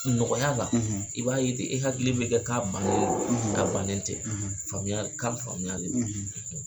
Nɔgɔya la i b'a ye te e hakili bɛ kɛ k'a bannen do a bannen tɛ faamuya kan faamuya de do.